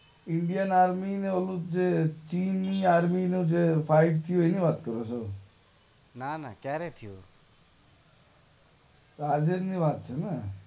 Indian army ને ચીની army વચ્ચે ફાઇટ થઇ એની વાત કરો છો? ના ના ક્યારે થયું? આજેજ ની વાત છે ને?